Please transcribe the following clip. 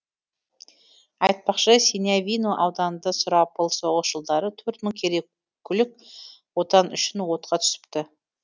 айтпақшы синявино ауданында сұрапыл соғыс жылдары төрт мың керекулік отан үшін отқа түсіпті